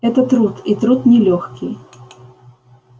это труд и труд нелёгкий